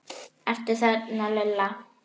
Ertu þarna Lilla?